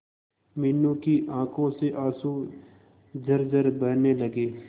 मीनू की आंखों से आंसू झरझर बहने लगे